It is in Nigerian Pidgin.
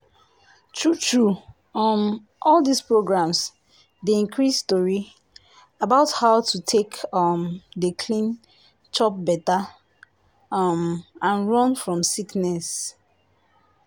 true true um all dis programs dey increase tori about how to take um dey clean chop better um and run fom sickness.